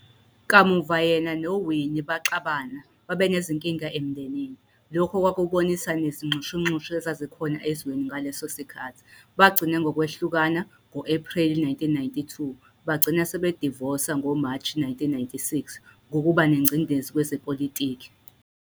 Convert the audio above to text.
Kamuva yena noWinnie baxabana babanezinkinga emndenini, lokhu okwakubonisa nezinxushunxushu ezazikhona ezweni ngaleso sikhathi, bagcina ngokwehlukana, ngo-Epreli 1992, bagcina sebedivosa, ngoMashi 1996, ngokuba nengcindeze kwezepolitiki.